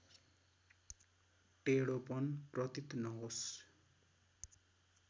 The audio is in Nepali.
टेढोपन प्रतीत नहोस्